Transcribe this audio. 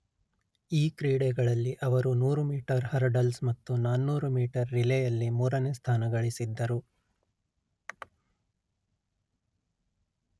ಈ ಕ್ರೀಡೆಗಳಲ್ಲಿ ಅವರು ನೂರು ಮೀಟರ್ ಹರ್ಡಲ್ಸ್ ಮತ್ತು ನಾನೂರು ಮೀಟರ್ ರಿಲೇಯಲ್ಲಿ ಮೂರನೆ ಸ್ಥಾನ ಗಳಿಸಿದ್ದರು